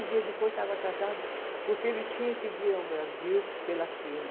Dias depois estava casada, porque ele tinha que vir ao Brasil pela firma.